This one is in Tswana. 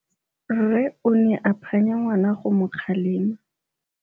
Rre o ne a phanya ngwana go mo kgalema.